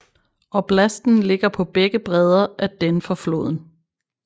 Oblasten ligger på begge breder af Dneprfloden